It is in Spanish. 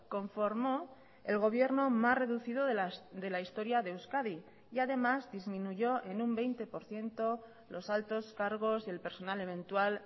conformó el gobierno más reducido de la historia de euskadi y además disminuyó en un veinte por ciento los altos cargos y el personal eventual